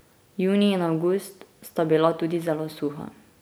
Junij in avgust sta bila tudi zelo suha.